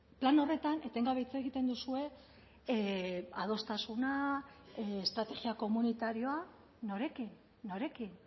plan horretan etengabe hitz egiten duzue adostasuna estrategia komunitarioa norekin norekin